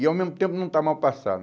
E ao mesmo tempo não está mal passada.